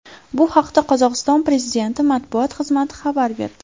Bu haqda Qozog‘iston prezidenti matbuot xizmati xabar berdi .